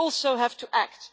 But we also have to act.